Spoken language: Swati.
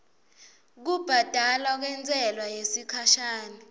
kubhadalwa kwentsela yesikhashana